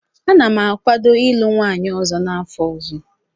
Ana m akwado ịlụ nwunye ọzọ n'afọ ọzọ.